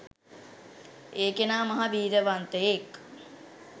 ඒ කෙනා මහා වීරියවන්තයෙක්.